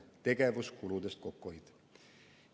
Tegevuskulude kokkuhoid on valitsuse ülesanne.